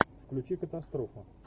включи катастрофа